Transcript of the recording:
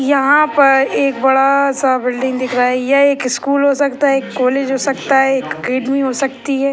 यहाँ पर एक बड़ा सा बिल्डिंग दिख रहा है यह एक स्कूल हो सकता है एक कॉलेज हो सकता है एक अकेडमी हो सकती है।